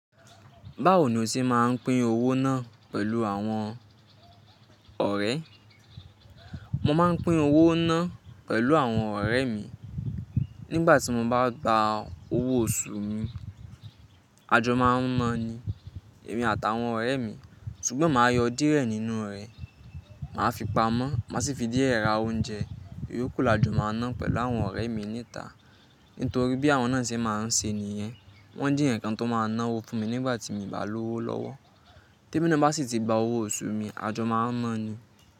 Báwo ni o ṣe máa ń pín owó náà pẹ̀lú àwọn ọ̀rẹ́? Mo máa ń pín owó náà pẹ̀lú àwọn ọ̀rẹ́ mi. Nígbà tí mo bá gba owó oṣù mi, ajọ máa ń náa ni èmi àtàwọn ọ̀rẹ́ mi, ṣùgbọ́n màá yọ díẹ̀ nínú rẹ̀, màá fi pamọ́, màá sì fi díẹ̀ ra oúnjẹ, ìyókù la jọ máa ná pẹ̀lú àwọn ọ̀rẹ́ mi ní ìta. Nítorí bí àwọn náà ṣe máa ń ṣe nìyẹn, wọ́n jé èèyàn kan tó máa náwó fún mi nígbà tí mi bá lówó lọ́wọ́. T’èmi náà bá sì ti gba owó oṣù mi, àjọ máa ń náa ni.